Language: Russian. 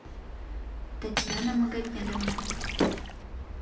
татьяна магомедовна